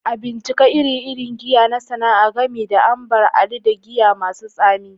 A bincika ire-iren giya na sana'a, gami da Ambar Alli da giya masu tsami